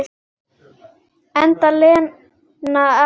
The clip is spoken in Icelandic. Enda Lena ekki að hlusta.